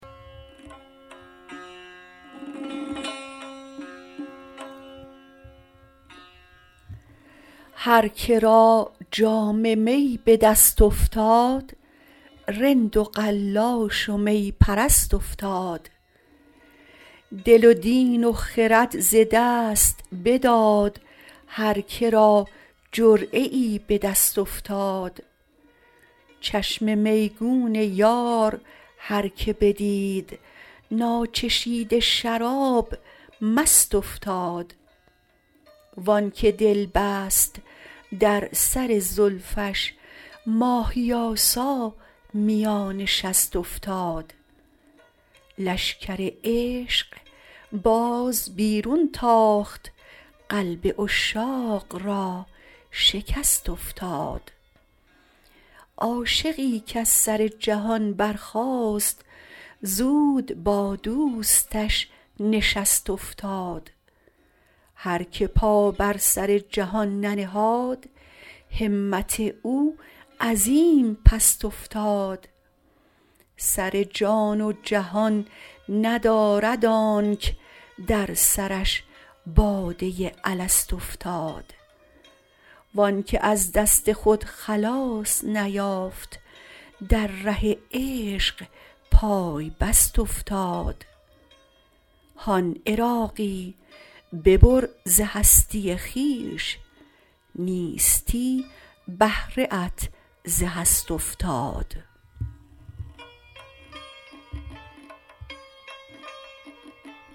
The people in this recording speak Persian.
هر که را جام می به دست افتاد رند و قلاش و می پرست افتاد دل و دین و خرد ز دست بداد هر که را جرعه ای به دست افتاد چشم میگون یار هر که بدید ناچشیده شراب مست افتاد وانکه دل بست در سر زلفش ماهی آسا میان شست افتاد لشکر عشق باز بیرون تاخت قلب عشاق را شکست افتاد عاشقی کز سر جهان برخاست زود با دوستش نشست افتاد هر که پا بر سر جهان ننهاد همت او عظیم پست افتاد سر جان و جهان ندارد آنک در سرش باده الست افتاد وآنکه از دست خود خلاص نیافت در ره عشق پای بست افتاد هان عراقی ببر ز هستی خویش نیستی بهره ات ز هست افتاد